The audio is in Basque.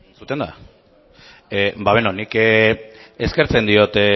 nik eskertzen diot